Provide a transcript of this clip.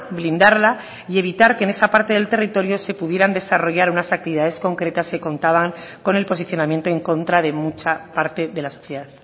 blindarla y evitar que en esa parte del territorio se pudieran desarrollar unas actividades concretas que contaban con el posicionamiento en contra de mucha parte de la sociedad